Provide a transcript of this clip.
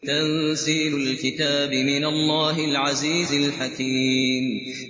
تَنزِيلُ الْكِتَابِ مِنَ اللَّهِ الْعَزِيزِ الْحَكِيمِ